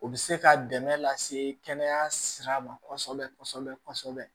O bɛ se ka dɛmɛ lase kɛnɛya sira ma kɔsɛbɛ kɔsɛbɛ kɔsɛbɛ